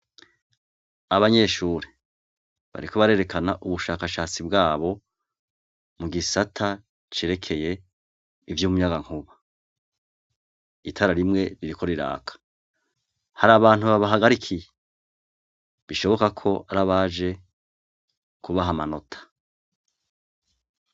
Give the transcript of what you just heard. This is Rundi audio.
Abanyeshure, bariko barerekana ubushakashatsi bwabo mu gisata cerekeye ivy'umuyagankuba, itara rimwe ririko riraka hari abantu babahagarikiye bishoboka ko ari abaje kubaha amanota.